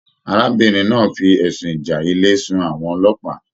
Arábìnrin náà fí ẹsùn ìjà ilé sun sí àwọn ọlọ́pàá.